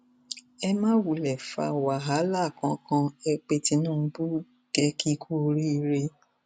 ẹ má wulẹ fa wàhálà kankan ẹ pé tinubu kẹ ẹ kì í kú oríire